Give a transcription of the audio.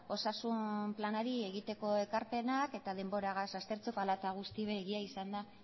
osasun planari egiteko ekarpenak eta denboragaz aztertzeko hala eta guztiz ere egia izan da